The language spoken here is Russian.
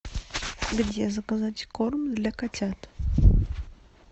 где заказать корм для котят